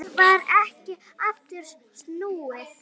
Það varð ekki aftur snúið.